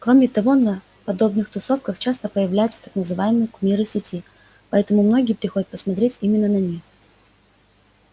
кроме того на подобных тусовках часто появляются так называемые кумиры сети поэтому многие приходят посмотреть именно на них